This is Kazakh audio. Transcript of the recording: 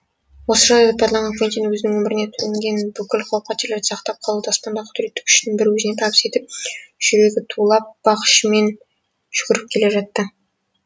осы жағдайды пайдаланған квентин өзінің өміріне төнген бүкіл қауіп қатерлерден сақтап қалуды аспандағы құдіретті күштің бір өзіне табыс етіп жүрегі тулап бақ ішімен жүгіріп келе жатты